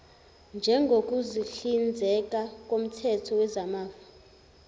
njengokuhlinzeka koomthetho wezamafa